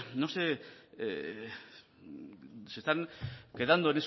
no sé se están quedando